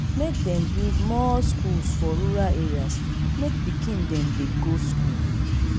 make dem build more skools for rural areas make pikin dem dey go skool.